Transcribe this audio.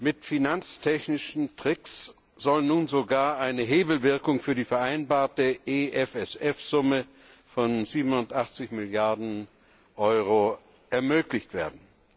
Mit finanztechnischen Tricks soll nun sogar eine Hebelwirkung für die vereinbarte EFSF Summe von 87 Milliarden Euro ermöglicht werden.